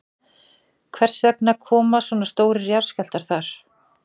Hvers vegna koma svona stórir jarðskjálftar þar?